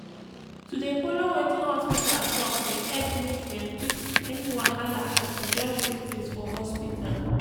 to dey follow wetin hospita talk dey epp make dem quck see any wahala as e just show face for hospita.